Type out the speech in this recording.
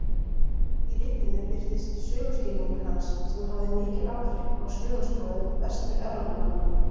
Í ritinu birtist söguskilningur hans sem hafði mikil áhrif á söguskoðun Vestur-Evrópumanna.